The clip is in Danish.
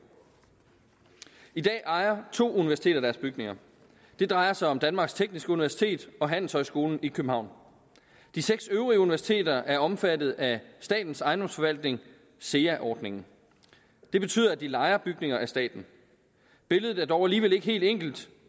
i dag ejer to universiteter deres bygninger det drejer sig om danmarks tekniske universitet og handelshøjskolen i københavn de seks øvrige universiteter er omfattet af statens ejendomsforvaltning sea ordningen det betyder at de lejer bygninger af staten billedet er dog alligevel ikke helt enkelt